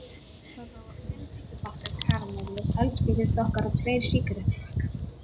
Þarna voru fimm tyggjópakkar, karamellur, eldspýtustokkar og tveir sígarettupakkar.